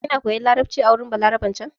Kina koyan larabci a wurin Balaraben can ne?